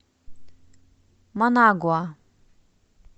манагуа